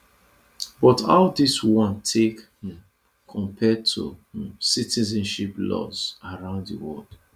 but how dis one take um compare to um citizenship laws around di world